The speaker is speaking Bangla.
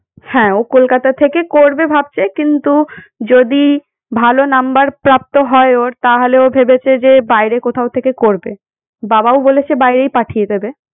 হ্যাঁ ও কলকাতা থেকে করবে ভাবছে কিন্তু যদি ভাল number প্রাপ্ত হয় ওর তাহলে ও ভেবেছে যে বাইরে কোথাও থেকে করবে। বাবাও বলেছে বাইরেই পাঠিয়ে দেবে